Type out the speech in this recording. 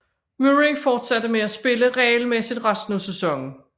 Murray fortsatte med at spille regelmæssigt resten af sæsonen